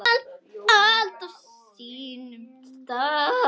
Allt á sínum stað.